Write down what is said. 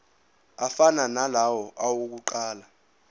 afana nalawo awokuqala